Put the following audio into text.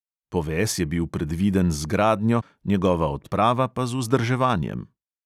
Poves je bil predviden z gradnjo, njegova odprava pa z vzdrževanjem.